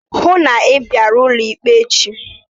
Hụụ na Ị bịara ụlọ ikpe echi!